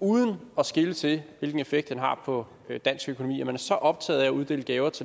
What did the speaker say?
uden at skele til hvilken effekt den har på dansk økonomi at man så optaget af at uddele gaver til